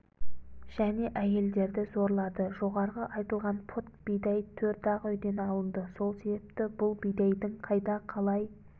және әйелдерді зорлады жоғарғы айтылған пұт бидай төрт-ақ үйден алынды сол себепті бұл бидайдың қайда қалай